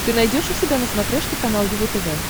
ты найдешь у себя на смотрешке канал его тв